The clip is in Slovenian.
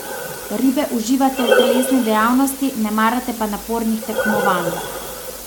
Ribe uživate v telesni dejavnosti, ne marate pa napornih tekmovanj.